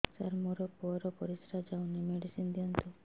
ସାର ମୋର ପୁଅର ପରିସ୍ରା ଯାଉନି ମେଡିସିନ ଦିଅନ୍ତୁ